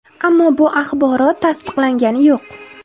Ammo bu axborot tasdiqlangani yo‘q.